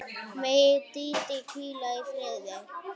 Megi Dídí hvíla í friði.